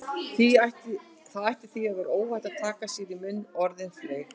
Það ætti því að vera óhætt að taka sér í munn orðin fleygu